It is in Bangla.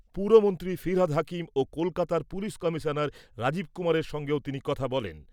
পুরমন্ত্রী ফিরহাদ হাকিম ও কলকাতার পুলিশ কমিশনার রাজীব কুমারের সঙ্গেও তিনি কথা বলেন।